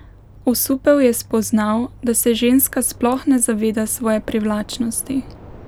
Osupel je spoznal, da se ženska sploh ne zaveda svoje privlačnosti.